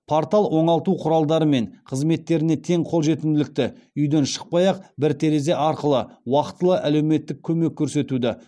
портал оңалту құралдары мен қызметтеріне тең қолжетімділікті үйден шықпай ақ бір терезе арқылы уақытылы әлеуметтік көмек көрсетуді